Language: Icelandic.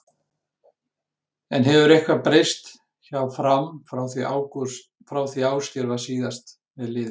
En hefur eitthvað breyst hjá Fram frá því Ásgeir var síðast með liðið?